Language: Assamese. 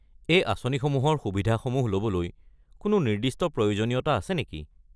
এই আঁচনিসমূহৰ সুবিধাসমূহ ল'বলৈ কোনো নিৰ্দিষ্ট প্ৰয়োজনীয়তা আছে নেকি?